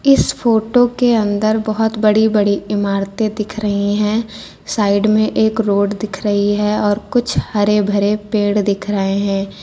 इस फोटो के अंदर बहोत बड़ी बड़ी इमारतें दिख रही हैं साइड में एक रोड दिख रही है और कुछ हरे भरे पेड़ दिख रहे हैं।